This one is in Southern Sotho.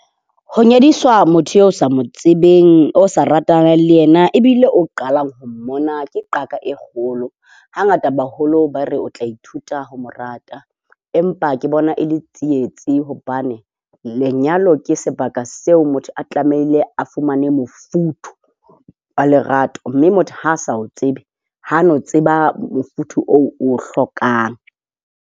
Ho nyadiswa motho eo o sa mo tsebeng, o sa ratanang le yena, ebile o qalang ho mmona ke qaka e kgolo. Hangata baholo ba re o tla ithuta ho mo rata empa ke bona e le tsietsi, hobane lenyalo ke sebaka seo motho a tlamehile a fumane mofuthu wa lerato. Mme motho ha a sa o tsebe ha a no tseba mofuthu oo o o hlokang.